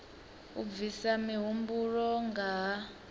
u bvisa mihumbulo nga ha